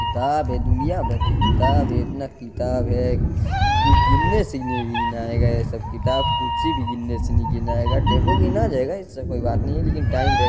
किताब है दुनियाभर के किताब है इतना किताब है की गिनने से नहीं गिनायेगा ये सब किताब कुर्सी भी गिनने से नहीं गिनायेगा टेबल गिना जायेगा ऐसा कोई बात नहीं लेकिन टाइम रे --